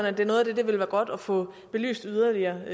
at det er noget af det det vil være godt at få belyst yderligere ved